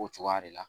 O cogoya de la